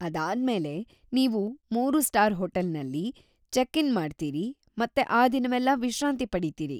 ಅದಾದ್ಮೇಲೆ ನೀವು ಮೂರು-ಸ್ಟಾರ್ ಹೋಟೆಲ್‌ನಲ್ಲಿ ಚೆಕ್ ಇನ್ ಮಾಡ್ತೀರಿ ಮತ್ತೆ ಆ ದಿನವೆಲ್ಲ ವಿಶ್ರಾಂತಿ ಪಡೀತೀರಿ.